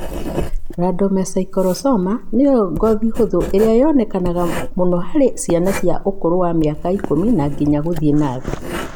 Rhabdomyosarcoma nĩyo soft tissue ĩrĩa yonekaga mũno harĩ cia ũkũrũ wa mĩaka ĩkũmi na inya gũthiĩ na thĩ.